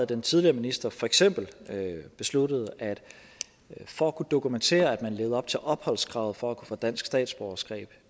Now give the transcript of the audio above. den tidligere minister for eksempel havde besluttet at for at kunne dokumentere at man levede op til opholdskravet for at få dansk statsborgerskab